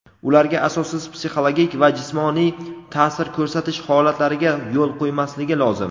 ularga asossiz psixologik va jismoniy taʼsir ko‘rsatish holatlariga yo‘l qo‘ymasligi lozim.